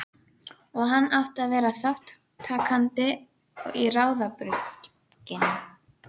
Og hann átti að vera þátttakandi í ráðabrugginu.